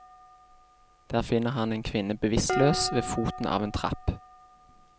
Der finner han en kvinne bevisstløs ved foten av en trapp.